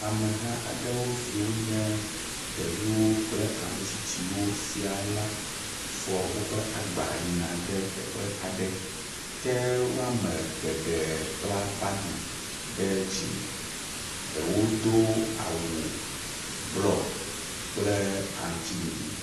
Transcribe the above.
Ameha aɖewo si wonye ɖeviwo kple ame tsitsiwo sia la fɔ woƒe agba yina ɖe teƒe aɖe ke wɔme geɖe kpla abgi ɖe dzi. ewo o awu blɔ kple aŋtsiɖiɖi.